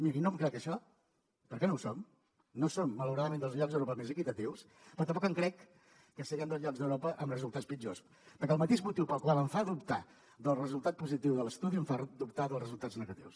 miri no em crec això perquè no ho som no som malauradament dels llocs europeus més equitatius però tampoc em crec que siguem dels llocs d’europa amb resultats pitjors perquè el mateix motiu que em fa dubtar del resultat positiu de l’estudi em fa dubtar dels resultats negatius